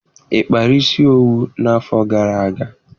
Ị kpara isi owu n'afọ gara aga?